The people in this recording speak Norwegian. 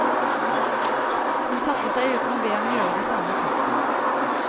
Hun satte seg uten å be ham gjøre det samme. punktum